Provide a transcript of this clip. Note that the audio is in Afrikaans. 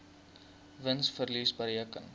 wins verlies bereken